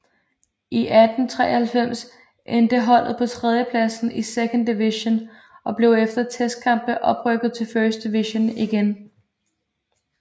I 1893 endte holdet på tredjepladsen i Second Division og blev efter testkampe oprykket til First Division igen